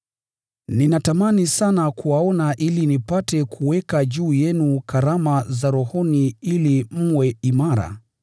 Ninatamani sana kuwaona ili nipate kuweka juu yenu karama za rohoni ili mwe imara,